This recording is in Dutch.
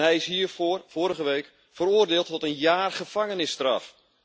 Hij is hiervoor vorige week veroordeeld tot een jaar gevangenisstraf.